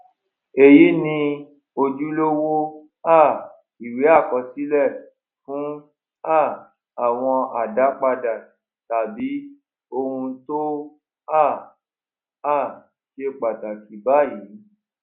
èyí ni ojúlówó um ìwé àkọsílè fún um àwọn àdápadà tàbí ohun tó um um ṣe pàtàkì báyìí